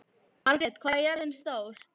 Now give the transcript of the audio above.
Margrjet, hvað er jörðin stór?